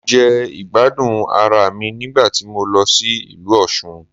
Mo jẹ ìgbádùn ara mi nígbà tí mo lọ sí ìlú Òsun